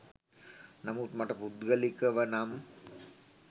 නමුත් මට පුද්ගලිකව නම්